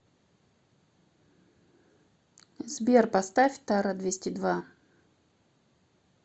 сбер поставь тара двести два